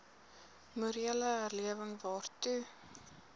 morele herlewing waartoe